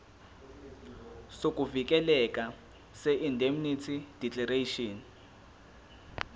sokuvikeleka seindemnity declaration